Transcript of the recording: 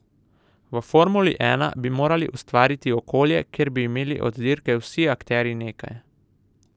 V formuli ena bi morali ustvariti okolje, kjer bi imeli od dirke vsi akterji nekaj.